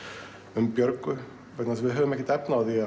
um Björgu vegna þess að við höfum ekkert efni á því